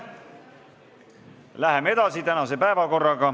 Läheme edasi.